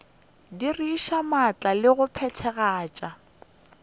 diriša maatla le go phethagatša